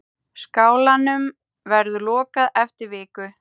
Skálanum verður lokað eftir viku.